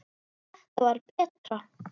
Þetta var betra.